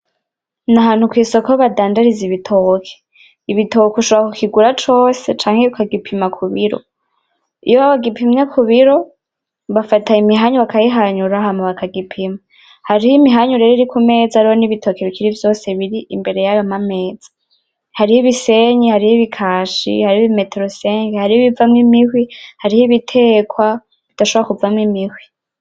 nahantu kwisoko badandariza ibitoke, ibitoke ushobora kukigura cose canke ukagipima kubiro iyo bagipimye kubiro bafata imihanyu bakayihanyura hama bakagipima hariho imihanyu reo iri kumeza hariho nibitoke bikiri vyose biri imbere yayo mameza hariho ibisenyi hariho ibikashi hariho ibimeterosenke hariho ibivamwo imihwi hariho ibitekwa bidashobora kuvamwo imihwi